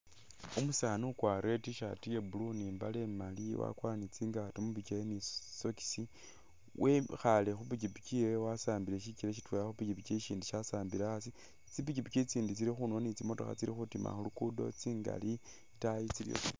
Umusaani ukwarile t-shirt ye'blue ni mbale imaali wakwara ni tsingaato mubikyele ni tsi socks, wekhaale khupikipiki yewe wasambiile shikyele shitweela khupikipiki shindi shasambiile hasi, tsipikipiki tsindi tsili khundulo ni tsimotokha tsili khutiima khuluguudo tsingaali itaayi